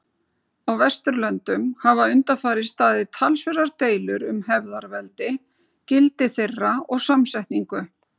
Á Vesturlöndum hafa undanfarið staðið talsverðar deilur um hefðarveldi, gildi þeirra og samsetningu.